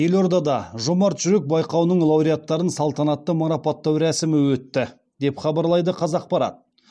елордада жомарт жүрек байқауының лауреаттарын салтанатты марапаттау рәсімі өтті деп хабарлайды қазақпарат